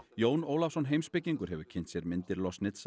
Jón Ólafsson heimspekingur hefur kynnt sér myndir